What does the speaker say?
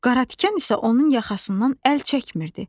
Qaratikan isə onun yaxasından əl çəkmirdi.